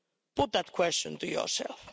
Put that question to yourselves.